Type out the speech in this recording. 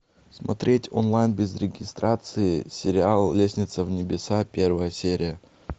смотреть онлайн без регистрации сериал лестница в небеса первая серия